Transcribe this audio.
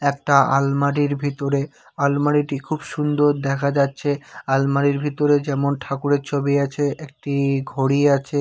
একটা আলমারির ভিতরে আলমারিটি খুব সুন্দর দেখা যাচ্ছে আলমারির ভিতরে যেমন ঠাকুরের ছবি আছে একটি ঘড়ি আছে।